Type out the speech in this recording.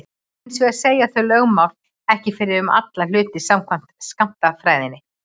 Hins vegar segja þau lögmál ekki fyrir um alla hluti samkvæmt skammtafræðinni.